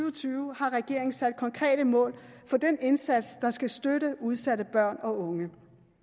og tyve sat konkrete mål for den indsats der skal støtte udsatte børn og unge